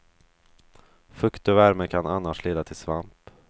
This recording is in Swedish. Fukt och värme kan annars leda till svamp.